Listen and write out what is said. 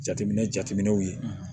Jateminɛ jateminɛ jateminɛw ye